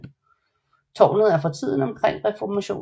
Tårnet er fra tiden omkring reformationen